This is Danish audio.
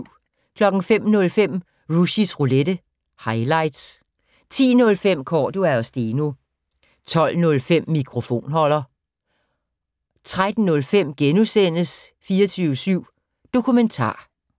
05:05: Rushys Roulette - highlights 10:05: Cordua & Steno 12:05: Mikrofonholder 13:05: 24syv Dokumentar *